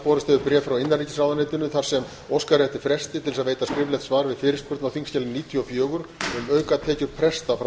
borist hefur bréf frá innanríkisráðuneytinu þar sem óskað er eftir fresti til að veita skriflegt svar við fyrirspurn á þingskjali níutíu og fjögur um aukatekjur presta þjóðkirkjunnar frá